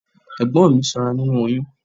Ẹ̀gbọ́n mi sanra nínú oyún.